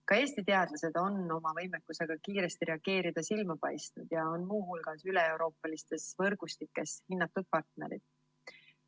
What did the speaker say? Ka Eesti teadlased on oma võimekusega kiiresti reageerida silma paistnud ja on muu hulgas üleeuroopalistes võrgustikes hinnatud partnerid.